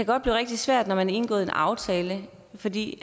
godt blive rigtig svært når man har indgået en aftale fordi